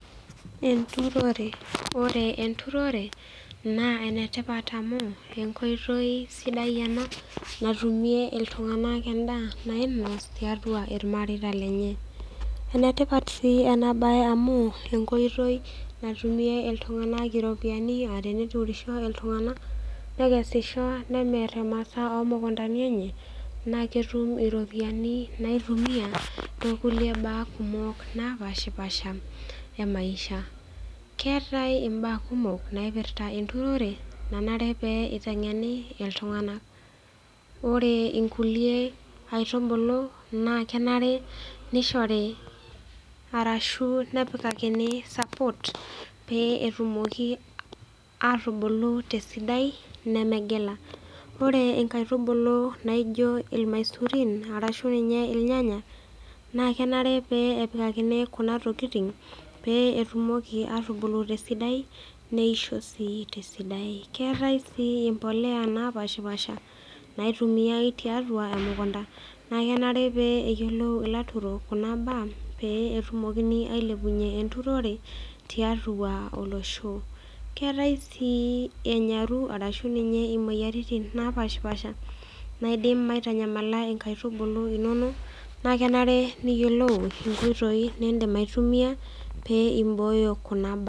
Enturore, ore enturore naa ene tipat amu enkoitoi natumie iltunganak ena, nainos tiatau ilmareita lenye. enetipat sii ena bae amu enkoitoi, natumie iltunganak iropiyiani. nemir imasaa oo ropiyiani enye, naa ketum iropiyiani naitumiae too kulie baa kumok naapashipaasha emaisha. keetae imbaa kumok naipirta enturore. nanare pee itengeni iltunganak. ore nkulie aitubulu naa kenare nishori arashu nepikakini support pee etumoki atubulu esidai. nemegila, ore nkaitubulu naijo ilamasurin naijo ilnyanya, naa kenare pee nebukokini Kuna tokitin pee etumoki atubulu esidai neisho sii te sidai.